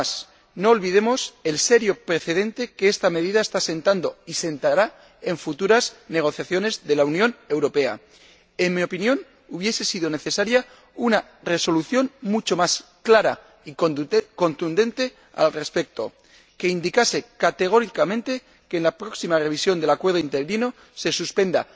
Además, no olvidemos el serio precedente que esta medida está sentando, y sentará, en futuras negociaciones de la Unión Europea. En mi opinión, hubiese sido necesaria una resolución mucho más clara y contundente al respecto que indicase categóricamente que, en la próxima revisión del Acuerdo de Asociación Interino, se suspenda